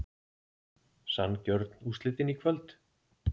Sanngjörn úrslitin í kvöld?